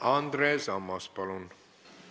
Andres Ammas, palun!